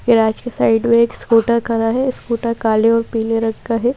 Garage के side में एक स्कूटर खड़ा है स्कूटर काले और पीले रंग का है।